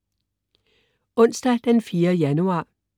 Onsdag den 4. januar